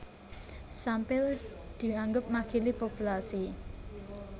Sampel dianggep makili populasi